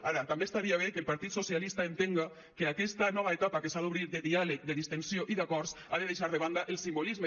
ara també estaria bé que el partit socialista entenga que aquesta nova etapa que s’ha d’obrir de diàleg de distensió i d’acords ha de deixar de banda el simbolisme